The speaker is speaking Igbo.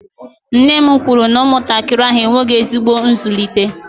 nne m kwuru na ụmụntakịrị ahụ enweghị ezigbo nzụlite